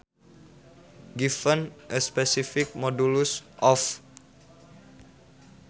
Given a specified modulus of